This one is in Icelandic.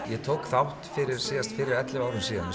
ég tók þátt síðast fyrir ellefu árum síðan